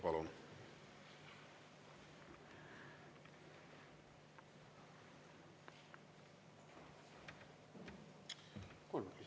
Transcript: Palun!